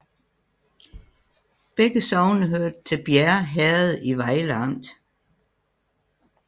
Begge sogne hørte til Bjerre Herred i Vejle Amt